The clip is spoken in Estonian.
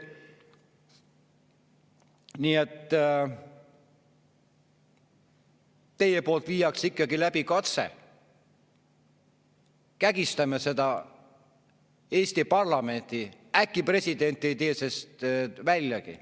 Nii et teie viite ikkagi läbi katse – kägistame seda Eesti parlamenti, äkki president ei tee sellest väljagi.